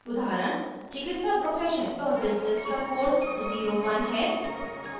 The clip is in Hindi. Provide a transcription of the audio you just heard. उदाहरण: चिकित्सा profession और business का code 01 है